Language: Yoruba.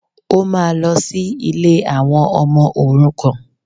Ó máa lọ sí ilé àwọn ọmọ òrukàn